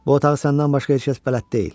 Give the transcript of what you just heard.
Bu otağı səndən başqa heç kəs bələd deyil.